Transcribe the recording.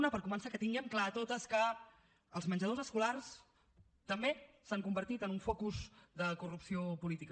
una per començar que tinguem clar totes que els menjadors escolars també s’han convertit en un focus de corrupció política